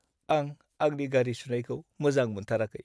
आं आंनि गारि सुनायखौ मोजां मोनथाराखै।